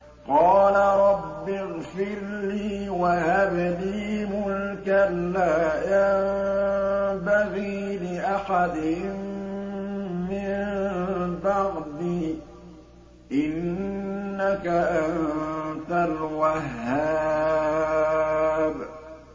قَالَ رَبِّ اغْفِرْ لِي وَهَبْ لِي مُلْكًا لَّا يَنبَغِي لِأَحَدٍ مِّن بَعْدِي ۖ إِنَّكَ أَنتَ الْوَهَّابُ